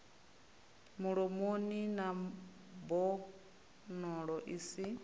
mulomoni na mbonalo i si